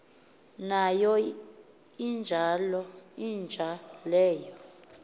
nayo inja leyo